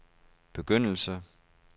begyndelse